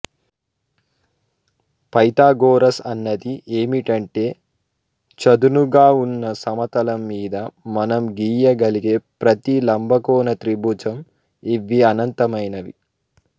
Pythagoras అన్నది ఏమిటంటే చదునుగా ఉన్న సమతలం మీద మనం గీయగలిగే ప్రతీ లంబకోణ త్రిభుజం ఇవి అనంతమైనవి